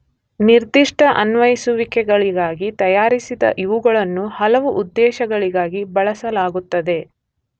ನಿರ್ಧಿಷ್ಟ ಅನ್ವಯಿಸುವಿಕೆಗಳಿಗಾಗಿ ತಯಾರಿಸಿದ ಇವುಗಳನ್ನು ಹಲವು ಉದ್ದೇಶಗಳಿಗಾಗಿ ಬಳಸಲಾಗುತ್ತದೆ.